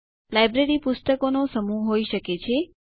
library પુસ્તકોનો સમૂહ હોય શકે છે